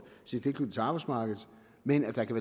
sin tilknytning til arbejdsmarkedet men at der kan